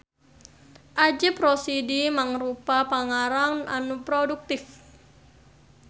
Ajip Rosidi mangrupa pangarang anu produktif.